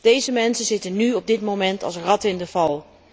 Deze mensen zitten nu op dit moment als ratten in de val.